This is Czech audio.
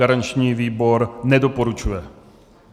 Garanční výbor nedoporučuje.